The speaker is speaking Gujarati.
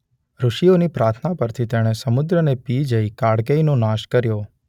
ઋષિઓની પ્રાર્થના પરથી તેણે સમુદ્રને પી જઈ કાળકેયનો નાશ કર્યો.